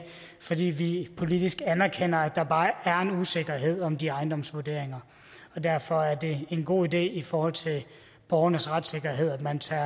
fordi vi politisk anerkender at der er en usikkerhed om de ejendomsvurderinger derfor er det en god idé i forhold til borgernes retssikkerhed at man tager